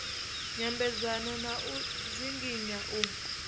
nyambedzano na u dzinginya u